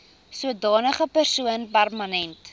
sodanige persoon permanent